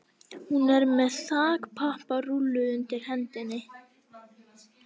Hún er með þakpapparúllu undir hendinni.